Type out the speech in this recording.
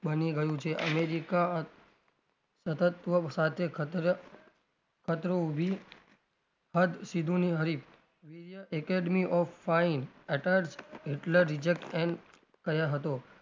બની ગયું છે અમેરિકા સતત્વ સાથે ખત્ર ખતરો ઉભી હદ સીધું ની હરીફ academy of fine Hitler reject and